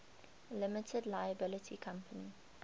limited liability company